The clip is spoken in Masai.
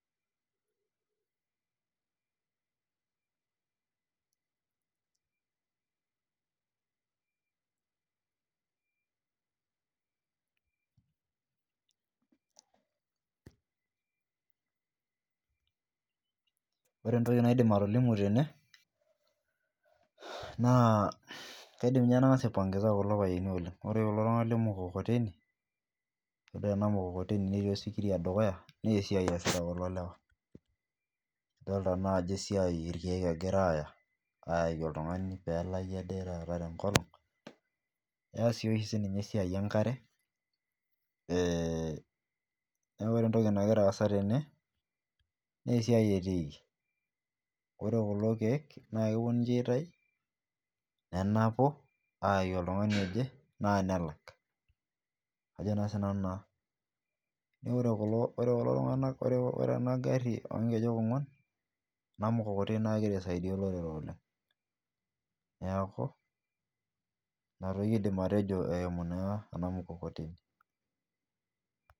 Ore entoki naidim atolimu tene naa kaidim ninye nang'as kupongeza kulo payiani oleng ore kulo tung'ana lee mkukoteni todua ena mkukoteni netii osikiria dukuya naa esiai esita kulo lewa dolita naa ajo irkeek egira ayaki oltung'ani pelaki Ade taat tenkolong eas si oshi esiai enkare ee ore entoki nagira asaa tene naa esiai etikii ore kulo keek naa kepuo ninje aitau nenapuu ayaki oltung'ani oje nelak Ajo sinanu naa neeku ore kulo tung'ana ore ena gari oo nkejek ong'uan ena mkukoteni naa kegira saidia olorere oleng neeku ena toki aidim atejo ayimu naa ena mkukoteni